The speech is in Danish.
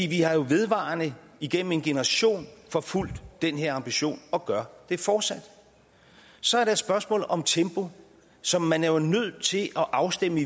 vi har jo vedvarende igennem en generation forfulgt den her ambition og gør det fortsat så er der et spørgsmål om tempo som man jo er nødt til at afstemme